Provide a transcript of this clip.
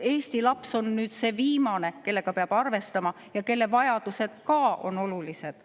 Eesti laps on see viimane, kellega peab arvestama, kuid ka tema vajadused on olulised.